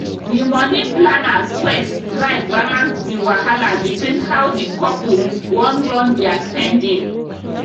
the money planner sweat try balance the wahala between how the couple wan run their spending